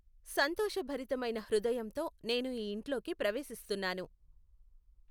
సంతోషభరితమైన హృదయంతో నేను ఈ ఇంట్లోకి ప్రవేశిస్తున్నాను.